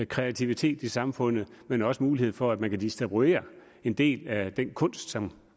kreativitet i samfund men også have mulighed for at man kan distribuere en del af den kunst som